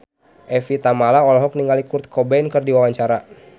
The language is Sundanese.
Evie Tamala olohok ningali Kurt Cobain keur diwawancara